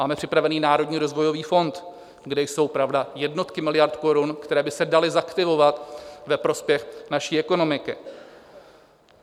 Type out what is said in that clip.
Máme připravený Národní rozvojový fond, kde jsou pravda jednotky miliard korun, které by se daly zaktivovat ve prospěch naší ekonomiky.